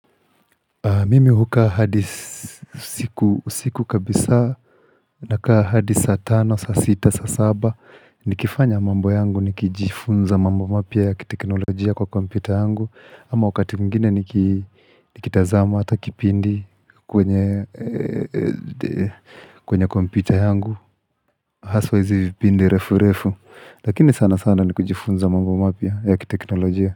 Mimi hukaa hadi usiku kabisa nakaa hadi saa tano, saa sita, saa saba nikifanya mambo yangu nikijifunza mambo mapya ya kiteknolojia kwa kompyuta yangu ama wakati mwingine nikitazama hata kipindi kwenye kwenye kompyuta yangu. Haswa hizi vipindi refu refu lakini sana sana ni kujifunza mambo mapya ya kiteknolojia.